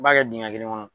I b'a kɛ dingɛ kelen kɔnɔ